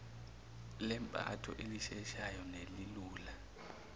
lempatho elisheshayo nelilula